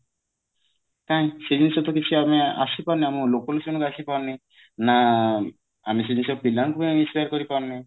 କାଇଁ ସେ ଜିନିଷ ତ କିଛି ଆମେ ଆସିପାରୁନି ଆମ ଲୋକଲୋଚନ କୁ ଆସିପାରୁନି ନା ଆମେ ସେ ଜିନିଷ ଆମେ ପିଲାଙ୍କୁ ବି share କରି ପାରୁନେ